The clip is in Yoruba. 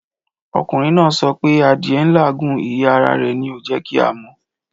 Ọkùnrin náà sọ pé adìẹ n làágùn, ìyẹ́ ara rẹ̀ ni ò jẹ́ kí a mọ̀'